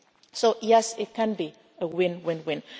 people. So yes, it can be win